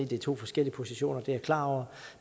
det er to forskellige positioner det er jeg klar over